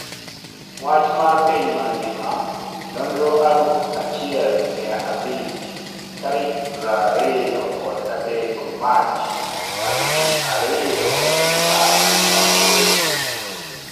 Wach mar piny mangima Nonro aluf achiel mia abich tarik prariyo kod adek mach aluf ariyo apar gi aboro